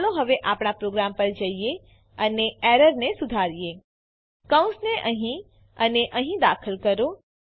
ચાલો હવે આપણા પ્રોગ્રામ પર જઈએ અને એરરને સુધારીએ કૌંસને અહીં અને અહીં દાખલ કરો